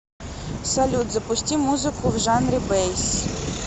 салют запусти музыку в жанре бэйс